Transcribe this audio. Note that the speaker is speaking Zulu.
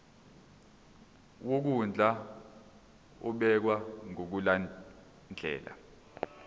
wokondla ubekwa ngokulandlela